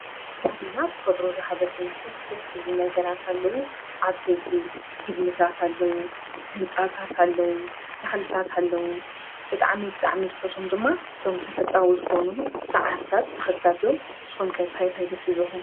ኣብ ከባቢና ተፈጥሮ ዝሃበትና ደስ ደስ ዝብሉ ነገራት ኣለው። ዓበይቲ ግድምታት ኣለው ፣ህንፃታት ኣለው ፣ተኽልታት ኣለዉ ፣ብጣዓሚ ብጣዓሚ ዝፈትዎም ድማ እዞም ተፈጥሮኣዊ ዝኾኑ ሳዕርታት ተኽልታት እዮም። ንስኻትኩም ከ እንታይ እንታይ ደስ ይብልኹም?